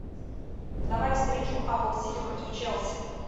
давай встречу апл сити против челси